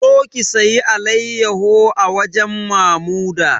Zo ki sayi alayyaho a wajen Mamuda!